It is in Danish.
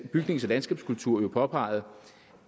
bygnings og landskabskultur påpeget